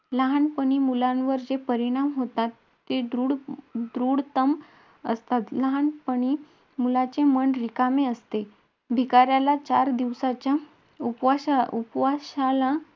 तेव्हा आमही मस्त श bus मध्ये बसून सरांसोबत गप्पा मारत मारत गाणे बोलत बोलत पुढे चाललेलो.